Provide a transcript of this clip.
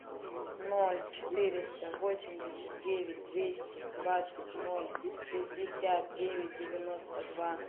ноль четыреста восемьдесят девять двести двадцать ноль шестьдесят девять девяносто два